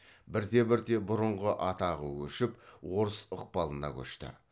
бірте бірте бұрынғы атағы өшіп орыс ықпалына көшті